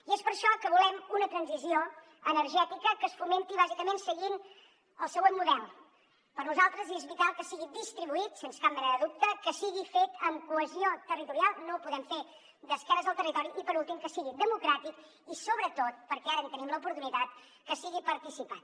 i és per això que volem una transició energètica que es fomenti bàsicament seguint el següent model per nosaltres és vital que sigui distribuït sens cap mena de dubte que sigui fet amb cohesió territorial no ho podem fer d’esquena al territori i per últim que sigui democràtic i sobretot perquè ara en tenim l’oportunitat que sigui participat